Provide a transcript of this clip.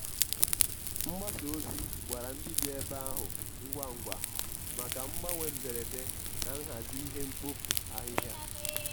mgbasa ozi gwara ndị bi ebe ahụ ngwa ngwa maka mgbanwe mberede na nhazi ihe mkpofu ahịhịa.